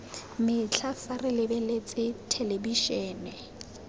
metlha fa re lebeletse thelebišene